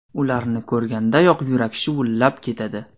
Ularni ko‘rgandayoq yurak shuvullab ketadi!